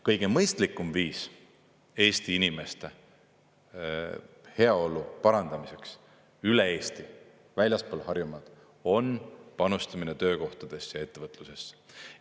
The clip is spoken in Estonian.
Kõige mõistlikum viis Eesti inimeste heaolu parandamiseks üle Eesti, väljaspool Harjumaad on panustamine töökohtadesse ja ettevõtlusesse.